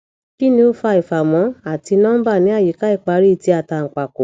kini o fa ifamo ati nomba ni ayika ipaari ti atanpako